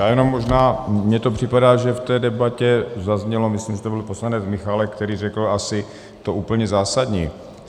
Já jenom možná, mně to připadá, že v té debatě zaznělo, myslím, že to byl poslanec Michálek, který řekl asi to úplně zásadní.